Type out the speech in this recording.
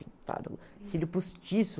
cílio postiço.